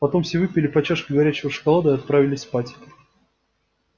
потом все выпили по чашке горячего шоколада и отправились спать